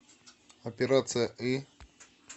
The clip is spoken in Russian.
операция ы